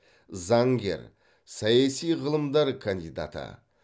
заңгер саяси ғылымдар кандидаты